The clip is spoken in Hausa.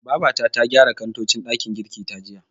Babata ta gyara kantocin ɗakin girkin ta jiya.